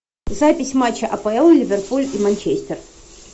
запись матча апл ливерпуль и манчестер